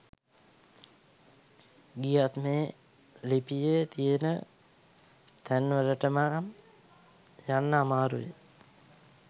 ගියත් මේ ලිපියේ තියෙන තැන්වලටනම් යන්න අමාරුවෙයි.